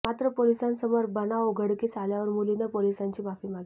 मात्र पोलिसांसमोर बनाव उघडकीस आल्यावर मुलीने पोलिसांची माफी मागितली